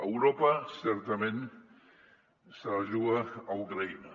europa certament se la juga a ucraïna